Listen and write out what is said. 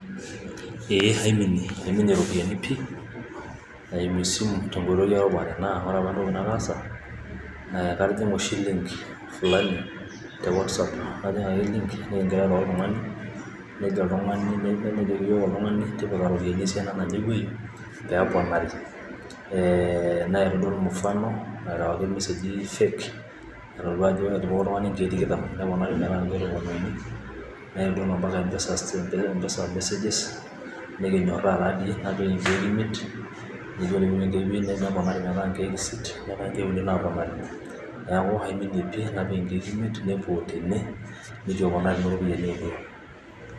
ee aiminie aiminie iropiyiani pi naimisus tengotoi erupare, naa ore apa entoki nataasa, naa katijing;a oshi bengi tengoitoi e WhatsApp naajing' ake bengi niking'ira airo oltungani najoki tipika iropiyiani esiana naje pee oponari naitodol mifano ,naarewaki emesegi fake aitodolu ajo ore pee epik oltung'ani enkeek tikitam neponari metaa inkeek tomon iuni naitol mpaka empesa message's, nikinyoraa taadii, napik inkeek imiet neponari metaa inkeek isiet, nepori inkeek uni, neeku aamini pi napik inkeek imiet nepuo otene.